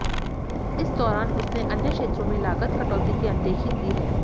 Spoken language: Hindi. इस दौरान उसने अन्य क्षेत्रों में लागत कटौती की अनदेखी की है